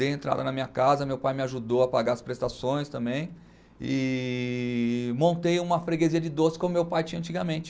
Dei entrada na minha casa, meu pai me ajudou a pagar as prestações também e montei uma freguesia de doce como meu pai tinha antigamente.